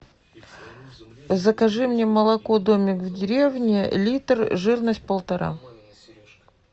закажи мне молоко домик в деревне литр жирность полтора